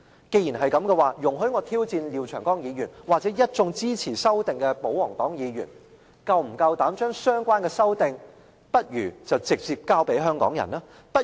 既然如此，容許我挑戰廖長江議員或一眾支持修訂的保皇黨議員，是否夠膽將相關修訂直接交給香港人？